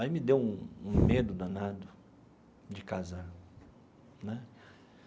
Aí me deu um um medo danado de casar né.